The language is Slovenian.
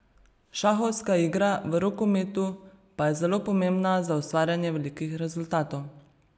Šahovska igra v rokometu pa je zelo pomembna za ustvarjanje velikih rezultatov.